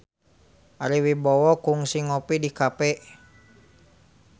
Ari Wibowo kungsi ngopi di cafe